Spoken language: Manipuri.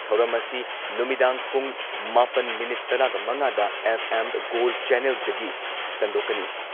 ꯊꯧꯔꯝ ꯑꯁꯤ ꯅꯨꯃꯤꯗꯥꯡ ꯄꯨꯡ ꯃꯥꯄꯟ ꯃꯤꯅꯤꯠ ꯇꯔꯥꯒ ꯃꯉꯥꯗ ꯑꯦꯐ.ꯑꯦꯝ. ꯒꯣꯜꯗ ꯆꯦꯟꯅꯦꯜꯗꯒꯤ ꯁꯟꯗꯣꯛꯀꯅꯤ ꯫